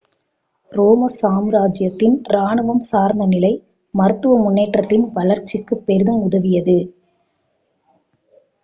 ரோம சாம்ராஜ்யத்தின் ராணுவம் சார்ந்த நிலை மருத்துவ முன்னேற்றதின் வளர்ச்சிக்குப் பெரிதும் உதவியது